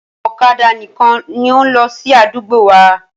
Ọ̀kadà nìkan ni ó ń lọ sí àdúgbò wa.